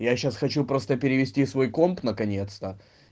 я сейчас хочу просто перевести свой комп наконец-то